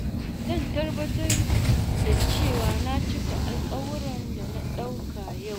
Zan tabbatar da cewa na cika alkawuran da na dauka yau.